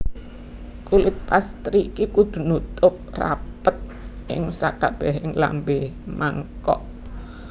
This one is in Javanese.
Kulit pastry iki kudu nutup rapet ing sakabehing lambe mangkok